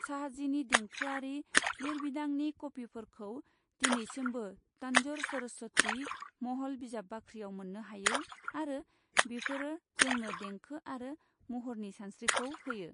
शाहजीनि देंखोआरि लिरबिदांनि कपिफोरखौ दिनैसिमबो तन्जौर सरस्वती महल बिजाब बाख्रियाव मोननो हायो आरो बेफोरो जोंनो देंखो आरो महरनि सानस्रिखौ होयो।